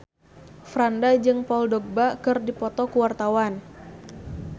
Franda jeung Paul Dogba keur dipoto ku wartawan